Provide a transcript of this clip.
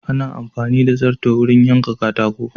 Ana amfani da darto ne wurin yanka katako.